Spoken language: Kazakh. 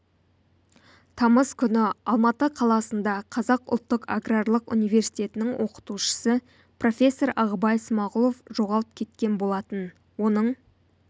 тамыз күні алматы қаласында қазақ ұлттық аграрлық университетінің оқытушысы профессор ағыбай смағұлов жоғалып кеткен болатын оның